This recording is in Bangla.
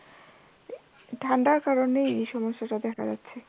ঠাণ্ডার কারনে এই সমস্যাটা দেখা যাচ্ছে